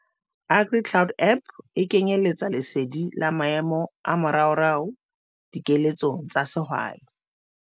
AgriCloud app e kenyeletsa lesedi la maemo a moraorao dikeletsong tsa sehwai.